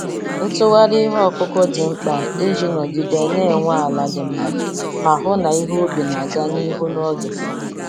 Ntugharị ihe ọkụkụ dị mkpa iji nọgide na-enwe ala dị mma ma hụ na ihe ubi na-aga n'ihu n'oge.